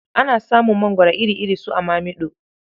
Ana samun mangoro iri-iri su a Mamiɗo.